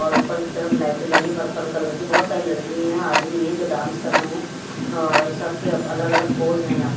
और ऊपर कि तरफ लाइटे लगी हैं पर्पल कलर की बहुत सारी लड़की हैं आदमी हैं जो डांस कर रहे हैं और सबके अलग अलग पोस हैं यहा पे--